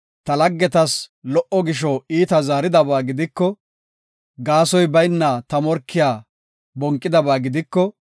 ta laggetas lo77o gisho iitaa zaaridaba gidiko, gaasoy bayna ta morkiya bonqidaba gidiko,